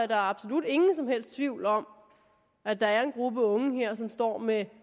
der absolut ingen som helst tvivl om at der er en gruppe unge her som står med